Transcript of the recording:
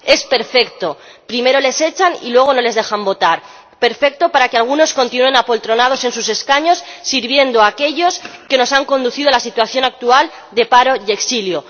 Es perfecto primero les echan y luego no les dejan votar. Perfecto para que algunos continúen apoltronados en sus escaños sirviendo a aquellos que nos han conducido a la situación actual de paro y exilio.